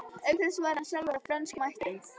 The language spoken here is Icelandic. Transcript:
Auk þess var hann sjálfur af frönskum ættum.